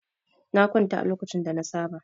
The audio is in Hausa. Na kwanta a lokacin da na saba.